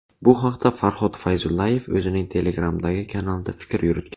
Bu haqda Farhod Fayzullayev o‘zining Telegram’dagi kanalida fikr yuritgan .